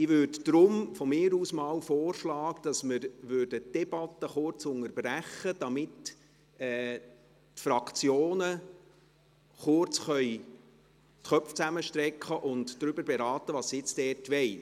Daher würde ich von mir aus vorschlagen, dass wir die Debatte kurz unterbrechen, damit die Fraktionen kurz die Köpfe zusammenstecken und beraten können, was sie diesbezüglich möchten.